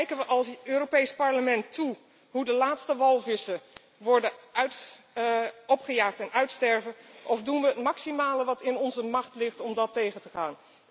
Kijken we als Europees Parlement toe hoe de laatste walvissen worden opgejaagd en uitsterven of doen we het maximale wat in onze macht ligt om dat tegen te gaan?